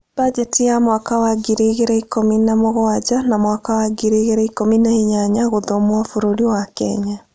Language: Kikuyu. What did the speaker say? Mbanjeti ya mwaka wa ngiri igĩrĩ ikũmi na mũgwanja na mwaka wa ngiri igĩrĩ ikũmi na inyanya gũthomwo bũrũri wa Kenya